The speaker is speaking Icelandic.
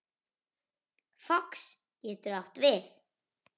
Fox getur átt við